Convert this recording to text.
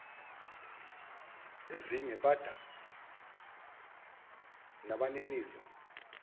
ezinye bada nabaninizo